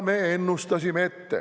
Me ennustasime seda ette.